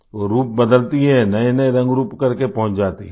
वो रूप बदलती है नएनए रंगरूप कर के पहुँच जाती है